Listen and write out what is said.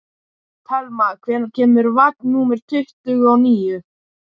Telma, hvenær kemur vagn númer tuttugu og níu?